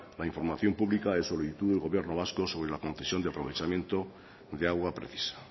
la información pública de solicitud del gobierno vasco sobre la concesión de aprovechamiento de agua precisa